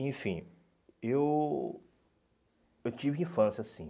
Enfim, eu eu tive infância, sim.